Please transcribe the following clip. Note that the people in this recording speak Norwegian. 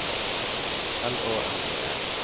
L Å N E R